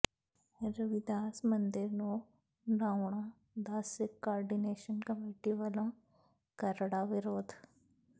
ਰਵਿਦਾਸ ਮੰਦਿਰ ਨੂੰ ਢਾਹੁਣ ਦਾ ਸਿੱਖ ਕੋਆਰਡੀਨੇਸ਼ਨ ਕਮੇਟੀ ਵਲੋਂ ਕਰੜਾ ਵਿਰੋਧ